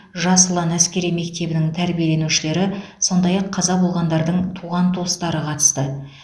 жас ұлан әскери мектебінің тәрбиеленушілері сондай ақ қаза болғандардың туған туыстары қатысты